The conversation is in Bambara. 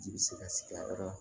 Ji bɛ se ka sigi a yɔrɔ la